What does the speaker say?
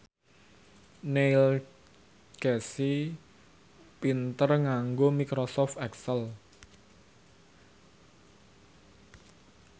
Neil Casey pinter nganggo microsoft excel